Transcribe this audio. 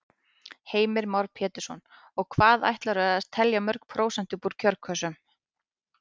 Heimir Már Pétursson: Og hvað ætlarðu að telja mörg prósent upp úr kjörkössunum?